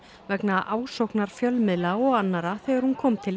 vegna ásóknar fjölmiðla og annarra þegar hún kom til